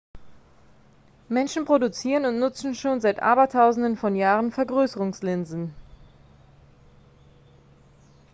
menschen produzieren und nutzen schon seit abertausenden von jahren vergrößerungslinsen